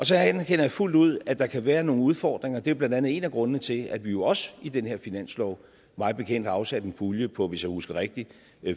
så anerkender jeg fuldt ud at der kan være nogle udfordringer det er blandt andet en af grundene til at vi jo også i den her finanslov mig bekendt har afsat en pulje på hvis jeg husker rigtigt